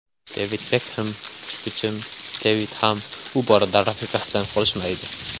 Devid Bekxem Xushbichim Devid ham bu borada rafiqasidan qolishmaydi.